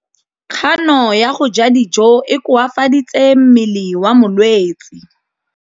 Kganô ya go ja dijo e koafaditse mmele wa molwetse.